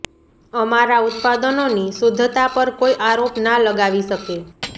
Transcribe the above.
અમારા ઉત્પાદનોની શુદ્ધતા પર કોઇ આરોપ ના લગાવી શકે